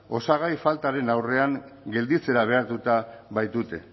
osagai faltaren aurrean gelditzera behartuta baitute